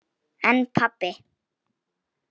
En pabbi.